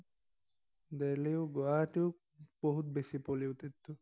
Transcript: Delhi ও, গুৱাহাটীও বহুত বেছি polluted তো।